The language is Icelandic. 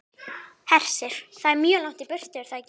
Hersir: Það er mjög langt í burtu, er það ekki?